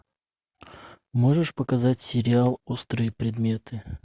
можешь показать сериал острые предметы